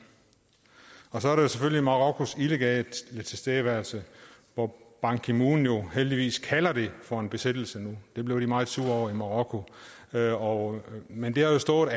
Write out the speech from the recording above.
så er der jo selvfølgelig marokkos illegale tilstedeværelse hvor ban ki moon jo heldigvis kalder det for en besættelse nu det blev de meget sure over i marokko marokko men det har stået